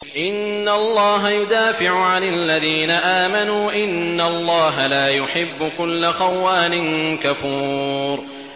۞ إِنَّ اللَّهَ يُدَافِعُ عَنِ الَّذِينَ آمَنُوا ۗ إِنَّ اللَّهَ لَا يُحِبُّ كُلَّ خَوَّانٍ كَفُورٍ